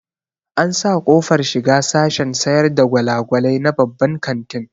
An sa ƙofar shiga sashen sayar da gwalagwalai na babban kantin